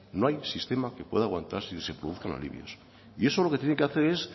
no hay sistema que pueda aguantar sin que se produzcan alivios y eso lo que tiene que hacer es